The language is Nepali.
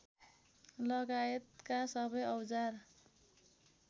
लगायतका सबै औजार